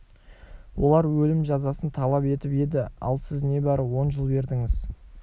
олар өлім жазасын талап етіп еді ал сіз небары он жыл бердіңіз